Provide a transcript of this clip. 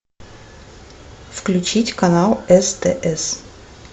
включить канал стс